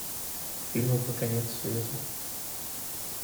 фильмы про конец света